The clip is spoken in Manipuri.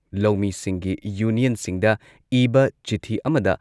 ꯂꯧꯃꯤꯁꯤꯡꯒꯤ ꯌꯨꯅꯤꯌꯟꯁꯤꯡꯗ ꯏꯕ ꯆꯤꯊꯤ ꯑꯃꯗ